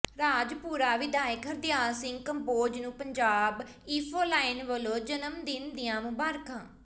ਰਾਜਪੁਰਾ ਵਿਧਾਇਕ ਹਰਦਿਆਲ ਸਿੰਘ ਕੰਬੋਜ ਨੂੰ ਪੰਜਾਬ ਇੰਫੋਲਾਇਨ ਵਲੋਂ ਜਨਮ ਦਿਨ ਦੀਆਂ ਮੁਬਾਰਕਾਂ